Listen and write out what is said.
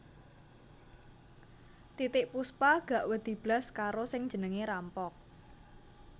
Titiek Puspa gak wedi blas karo sing jenenge rampok